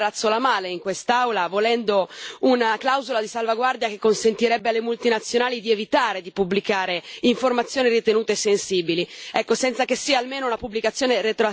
Purtroppo oggi c'è chi predica bene e razzola male, in quest'Aula, volendo una clausola di salvaguardia che consentirebbe alle multinazionali di evitare di pubblicare informazioni ritenute sensibili.